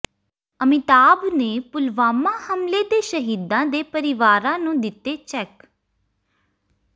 ਅਮਿਤਾਭ ਨੇ ਪੁਲਵਾਮਾ ਹਮਲੇ ਦੇ ਸ਼ਹੀਦਾਂ ਦੇ ਪਰਿਵਾਰਾਂ ਨੂੰ ਦਿੱਤੇ ਚੈੱਕ